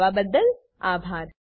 અમને જોડાવાબદ્દલ આભાર